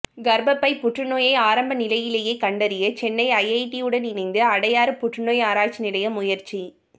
கர்ப்பப்பை புற்றுநோயை ஆரம்ப நிலையிலேயே கண்டறிய சென்னை ஐஐடியுடன் இணைந்து அடையாறு புற்றுநோய் ஆராய்ச்சி நிலையம் முயற்சி